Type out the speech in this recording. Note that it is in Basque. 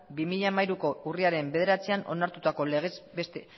bi mila hamairuko urriaren bederatzian onartutako